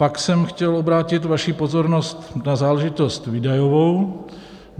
Pak jsem chtěl obrátit vaši pozornost na záležitost výdajovou.